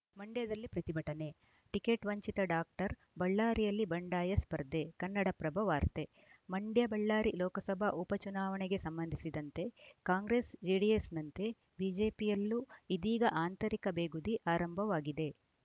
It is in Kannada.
ಮಂಡ್ಯದಲ್ಲಿ ಪ್ರತಿಭಟನೆ ಟಿಕೆಟ್‌ ವಂಚಿತ ಡಾಕ್ಟರ್‌ ಬಳ್ಳಾರಿಯಲ್ಲಿ ಬಂಡಾಯ ಸ್ಪರ್ಧೆ ಕನ್ನಡಪ್ರಭ ವಾರ್ತೆ ಮಂಡ್ಯಬಳ್ಳಾರಿ ಲೋಕಸಭಾ ಉಪಚುನಾವಣೆಗೆ ಸಂಬಂಧಿಸಿದಂತೆ ಕಾಂಗ್ರೆಸ್‌ ಜೆಡಿಎಸ್‌ನಂತೆ ಬಿಜೆಪಿಯಲ್ಲೂ ಇದೀಗ ಆಂತರಿಕ ಬೇಗುದಿ ಆರಂಭವಾಗಿದೆ